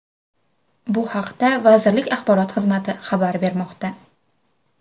Bu haqda vazirlik axborot xizmati xabar bermoqda.